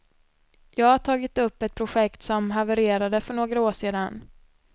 Jag har tagit upp ett projekt som havererade för några år sedan.